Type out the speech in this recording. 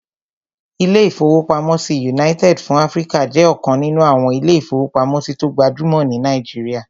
Ilé-ìfowópamọ́sí United fún Áfríkà jẹ́ ọ̀kan nínú àwọn ilé-ìfowópamọ́sí tó gbajúmọ̀ ní Nàìjíríyà